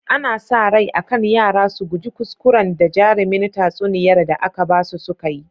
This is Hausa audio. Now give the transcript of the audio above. Ana sa rai akan yara su guji kuskuran da jarimin tatsuniyar da aka basu sukayi